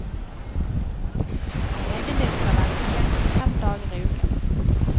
Legen din skal være tilgjengelig fem dager i uken.